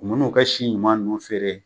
U man'u ka si ɲuman ninnu feere